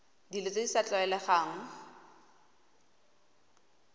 dilo tse di sa tlwaelegang